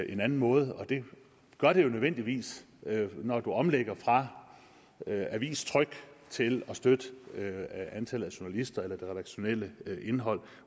en anden måde og det gør det jo nødvendigvis når du omlægger fra avistryk til at støtte antallet af journalister eller det redaktionelle indhold